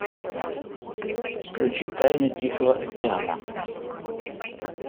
включи тайны тихого океана